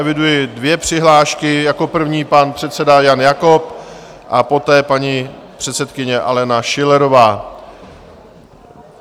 Eviduji dvě přihlášky, jako první pan předseda Jan Jakob a poté paní předsedkyně Alena Schillerová.